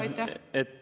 Aitäh!